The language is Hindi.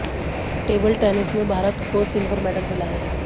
टेबल टेनिस में भारत को सिल्वर मेडल मिला है